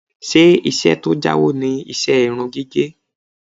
Ṣé iṣẹ́ tó jáwó ni iṣẹ́ irun gígẹ̀?